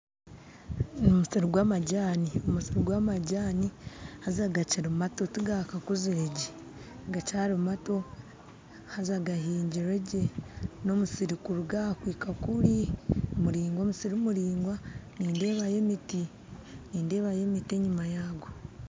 Omusiri gw'amajaani omusiri gw'amajaani haza gakiri mato tigakakuziregye haza gahiingirwe gye, n'omusiri kuruga aha kuhika kuri n'omusiri muraingwa nindeebayo emiti enyima yaago.